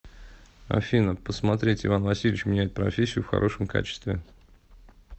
афина посмотреть иван васильевич меняет профессию в хорошем качестве